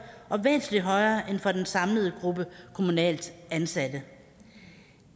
og væsentlig højere end for den samlede gruppe kommunalt ansatte